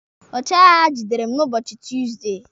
Ọchịagha gidere m n'ụbọchị Tuusdey